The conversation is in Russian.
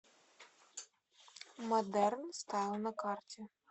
модерн стайл на карте